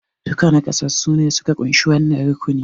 Dukan naƙasassu ne suka kunshi wannan rukuni